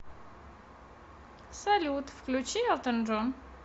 салют включи элтон джон